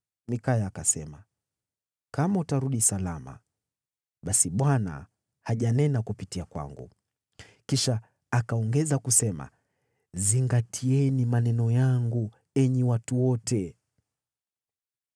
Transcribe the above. Mikaya akasema, “Kama utarudi salama, basi Bwana hajanena kupitia kwangu.” Kisha akaongeza kusema, “Zingatieni maneno yangu, enyi watu wote!”